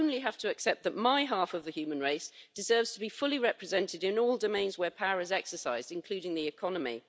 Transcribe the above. We only have to accept that my half of the human race deserves to be fully represented in all domains where power is exercised, including the economy.